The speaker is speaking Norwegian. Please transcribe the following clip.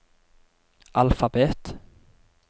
alfabet